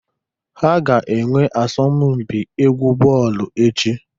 Ha ga-enwe asọmụ mpị egwu bọọlụ echi.